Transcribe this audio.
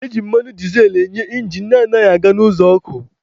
Ejikwa mmanụ dizel enye injin na-anaghị aga n'ụzọ ọkụ.